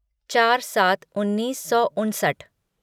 चार सात उन्नीस सौ उनसठ